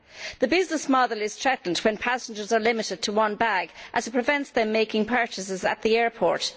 The business model is threatened when passengers are limited to one bag as it prevents them from making purchases at the airport.